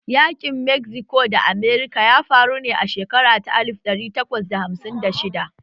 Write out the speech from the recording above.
Yaƙin Mexico da Amurka ya faru ne a shekara ta alif ɗari takwas da hamsin da shidda